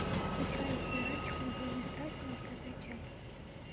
включай сериальчик анатомия страсти десятая часть